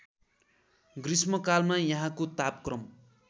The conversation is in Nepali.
गृष्मकालमा यहाँको तापक्रम